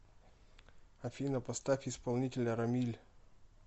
афина поставь исполнителя рамиль